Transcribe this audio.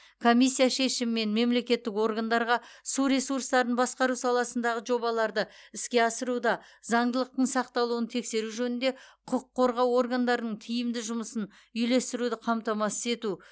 комиссия шешімімен мемлекеттік органдарға су ресурстарын басқару саласындағы жобаларды іске асыруда заңдылықтың сақталуын тексеру жөнінде құқық қорғау органдарының тиімді жұмысын үйлестіруді қамтамасыз ету